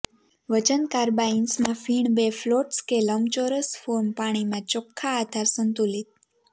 વજન કાર્બાઇન્સમાં ફીણ બે ફ્લોટ્સ કે લંબચોરસ ફોર્મ પાણીમાં ચોખ્ખા આધાર સંતુલિત